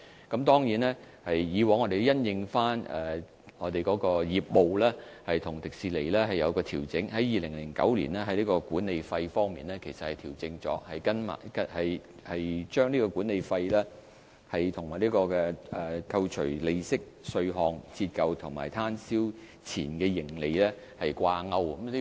我們過去亦曾經因應實際業務情況與迪士尼討論作出調整，正如我曾經多次解釋，管理費於2009年其實已經作出調整，把管理費與扣除利息、稅項、折舊和攤銷前的盈利掛鈎。